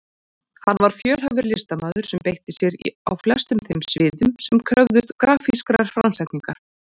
Hann var fjölhæfur listamaður sem beitti sér á flestum þeim sviðum sem kröfðust grafískrar framsetningar.